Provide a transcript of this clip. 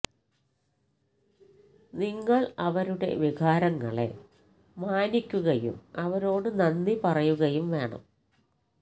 നിങ്ങൾ അവരുടെ വികാരങ്ങളെ മാനിക്കുകയും അവരോട് നന്ദി പറയുകയും വേണം